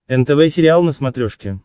нтв сериал на смотрешке